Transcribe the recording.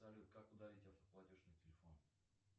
салют как удалить автоплатеж на телефоне